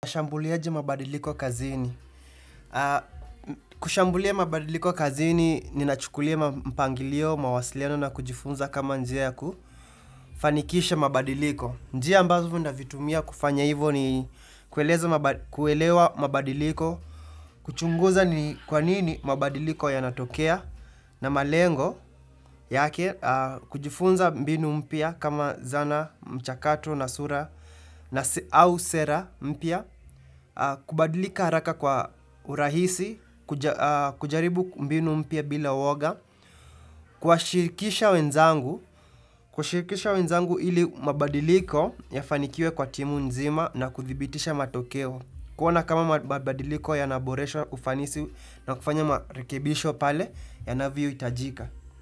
Ushambuliaji mabadiliko kazini. Kushambulia mabadiliko kazini, ninachukulia mpangilio, mawasiliano na kujifunza kama njia yaku. Fanikisha mabadiliko. Njia ambazo navitumia kufanya hivo ni kuelewa mabadiliko, kuchunguza ni kwa nini mabadiliko yanatokea, na malengo yake, kujifunza mbinu mpya kama zana, mchakato, na sura, na au sera mpya, kubadilika haraka kwa urahisi kujaribu mbinu mpya bila uwoga Kuwashirikisha wenzangu Kuwashirikisha wenzangu ili mabadiliko Yafanikiwe kwa timu nzima na kudhibitisha matokeo kuona kama mabadiliko yanaboresha ufanisi na kufanya marikebisho pale yanavyo itajika.